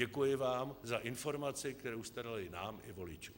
Děkuji vám za informaci, kterou jste dali nám i voličům.